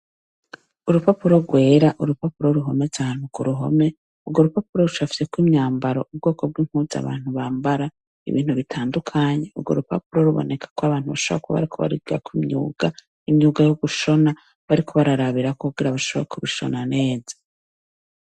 Urupapuro rwera, urupapuro ruhometse ahantu kuruhome urwo rupapuro rucafyeko imyambaro yubwoko bwimpuzu abantu bambara ibintu bitandukanye urwo rupapuro rubonekako abantu bashobora kuba bariko baragwigirako imyuga, imyuga yo gushona bariko bararabirako kugira bashobore kubishona neza.